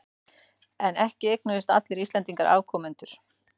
En ekki eignuðust allir Íslendingar afkomendur.